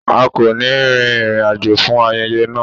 A kò ní rin ìrìn àjò fún ayẹyẹ náà.